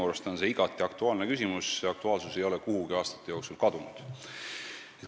Minu arust on see igati aktuaalne küsimus, selle aktuaalsus ei ole aastate jooksul kuhugi kadunud.